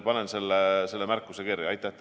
Panen selle märkuse endale kirja.